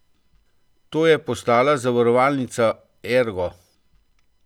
To je postala zavarovalnica Ergo.